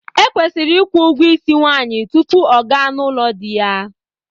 Ekwesiri ịkwụ ụgwọ isi nwaanyị tupu ọ gaa n'ụlọ di ya.